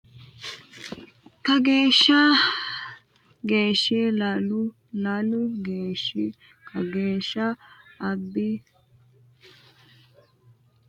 kageeshsha geeshshi Ilaalu Ilaalu geeshshi kageeshsha abbi roommoti qarrasi malanni sagale adha rosunni badheegge keeshsheenna gattoonkena kaa le e ballo !